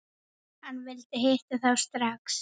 Hann vildi hitta þá strax.